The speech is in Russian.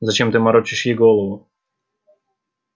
зачем ты морочишь ей голову